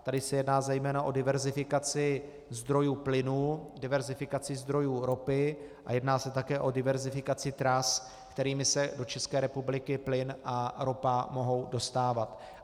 Tady se jedná zejména o diverzifikaci zdrojů plynu, diverzifikaci zdrojů ropy a jedná se také o diverzifikaci tras, kterými se do České republiky plyn a ropa mohou dostávat.